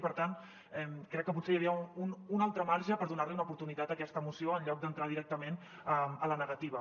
i per tant crec que potser hi havia un altre marge per donar una oportunitat a aquesta moció en lloc d’entrar directament a la negativa